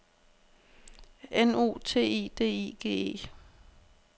N U T I D I G E